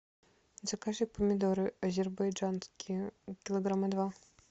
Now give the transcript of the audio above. закажи помидоры азербайджанские килограмма два